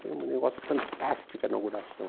Foi um negócio fantástico a inauguração.